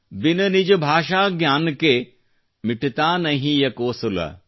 ಬಿನ ನಿಜ ಭಾಷಾ ಜ್ಞಾನ ಕೆ ಮಿಟತಾ ನ ಹಿಯ ಕೊ ಸೂಲ